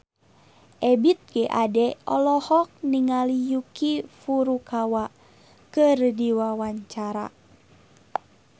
Ebith G. Ade olohok ningali Yuki Furukawa keur diwawancara